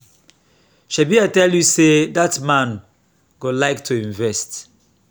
shebi i tell you say dat man go like to invest